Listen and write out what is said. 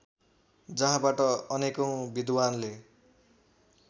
जहाँबाट अनेकौँ विद्वानले